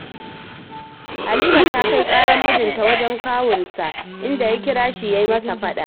Halima ta kai ƙarar mijinta wajen kawunsa, inda ya kira shi, ya yi masa faɗa